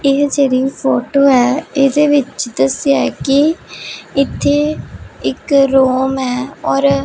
ਇਹ ਜਿਹੜੀ ਫੋਟੋ ਹੈ ਇਹਦੇ ਵਿੱਚ ਦੱਸਿਆ ਐ ਕਿ ਇੱਥੇ ਇੱਕ ਰੂਮ ਹੈ ਔਰ --